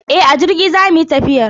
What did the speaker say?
E, a jirgi zamu yi tafiyar.